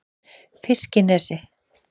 Fiskinesi